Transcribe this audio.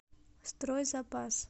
стройзапас